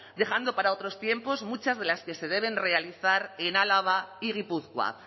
dejando para otros tiempos muchas de las que se deben realizar en álava y gipuzkoa